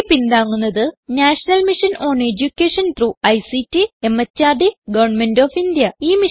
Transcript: ഇതിനെ പിന്താങ്ങുന്നത് National Mission on Education through ICT MHRD government of India